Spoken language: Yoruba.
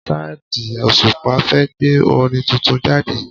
Saidi Òṣùpá fẹ́ gbé orin tuntun jáde